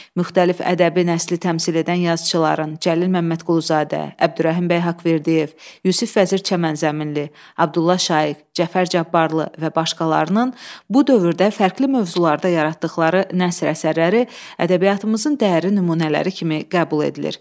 Müxtəlif ədəbi nəsli təmsil edən yazıçıların Cəlil Məmmədquluzadə, Əbdürrəhim bəy Haqverdiyev, Yusif Vəzir Çəmənzəminli, Abdulla Şaiq, Cəfər Cabbarlı və başqalarının bu dövrdə fərqli mövzularda yaratdıqları nəsr əsərləri ədəbiyyatımızın dəyərli nümunələri kimi qəbul edilir.